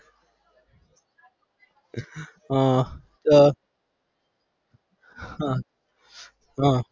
હા અર હા